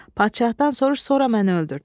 Padşahdan soruş, sonra məni öldürt."